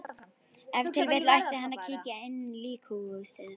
Ef til vill ætti hann að kíkja inn líkhúsið.